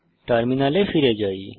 টার্মিনালে ফিরে যাই